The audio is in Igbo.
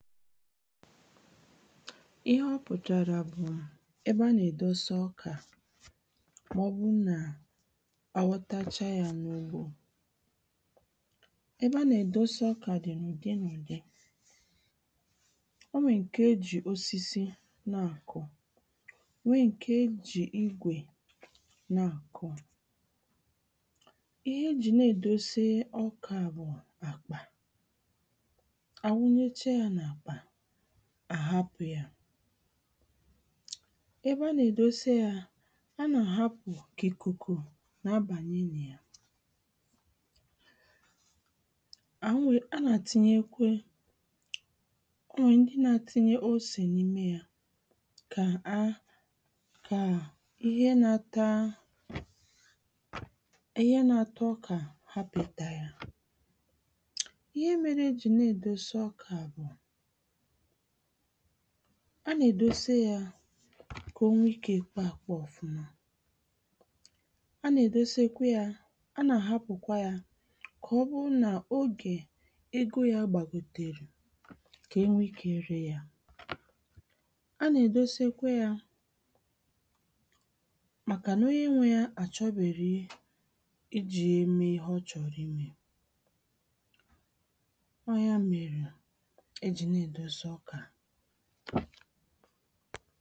ịhẹ ọ pụ̀tàrà bụ̀ ẹbẹ a nà-èdose ọkà mà-ọbụ nà a ghọtacha yā nà-ụgbō ẹbẹ a nà-èdose ọkà dị̀ n’ùdị n’ùdị̄ ọ ṅwè ṅkè e jị̀ osịsị nâ kọ ṅwe ṇke jị̀ ịgwè nâ kọ ịhe jị̀ na-êdose ọkà bụ̀ àkpà a wụnyeche yā nà àkpà à hapụ̄ yà ẹbẹ a nà-èdose yā a nà-hapụ̀ kà ị̀kụ̀kụ̀ na a bànye nà ya a nà tịnyekwe ọ ṅwẹ̀ ṅdị naā tinye osè nịme yā kā a kà ịhe nā-ātā ịhe nā-ātā ọkà hapụ̀ ị tā yā ịhe mere e jị na-ēdose ọkà bụ̀ a nà-èdose yā kà o ṅwe ịkē kpọ à kpọ ọ̀fụma a nà-èdosekwe yā a nàà hapụ̀kwa yā kà ọ bu nà ogè ego yā gbàgòtèrè kà ẹ ṅwẹ ịkē ré yā a nà-èdosekweyā màkà nà onye ṅwē yā à chọbèrè ị ị jī yē e ịhe ọ chọ̀rọ̀ ị mē ọ yā mèrè e jị̀ na-ēdose ọkà